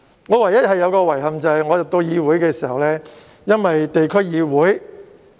我唯一的遺憾，是當我加入議會時，因為區議會......